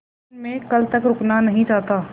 लेकिन मैं कल तक रुकना नहीं चाहता